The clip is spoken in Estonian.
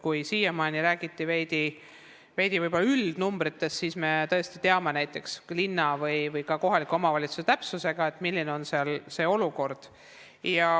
Kui siiamaani räägiti võib-olla üldnumbritest, siis meie tõesti teame linna või ka kohaliku omavalitsuse täpsusega, milline on olukord.